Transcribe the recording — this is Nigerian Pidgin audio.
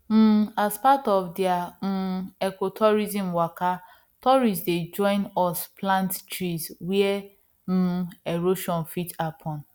um as part of their um ecotourism waka tourists dey join us plant trees where um erosion fit happen